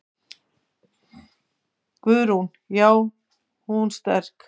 Guðrún: Já er hún sterk?